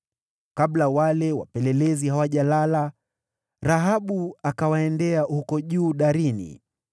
Kabla wale wapelelezi hawajalala, Rahabu akawaendea huko juu darini,